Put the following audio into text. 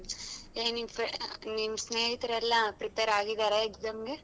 ಹ್ಮ್ ಏ ನಿನ್ frien~ ಸ್ನೇಹಿತರೆಲ್ಲ prepare ಆಗಿದ್ದಾರಾ exam ಗೆ.